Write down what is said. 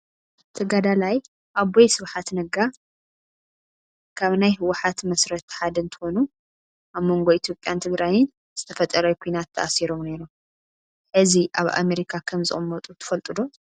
ተጋዳላይ ኣቦይ ስብሓት ነጋ ካብ ናይ ህወሓት መስረቲ ሓደ እንትኮኑ ኣብ መንጎ ኢትዮጵያን ትግራይን ዝተፈጠረ ኩናት ተኣሲሮም ነይሮም። ሕዚ ኣብ አሜሪካ ከምዝቅመጡ ትፈልጡ ዶ ?